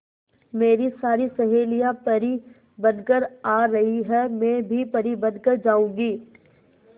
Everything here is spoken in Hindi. मेरी सारी सहेलियां परी बनकर आ रही है मैं भी परी बन कर जाऊंगी